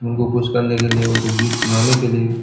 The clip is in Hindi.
उनको खुश करने के लिए उनको गीत सुनाने के लिए--